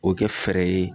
O kɛ fɛɛrɛ ye